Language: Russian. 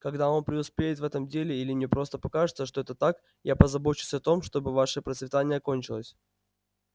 когда он преуспеет в этом деле или мне просто покажется что это так я позабочусь о том чтобы ваше процветание окончилось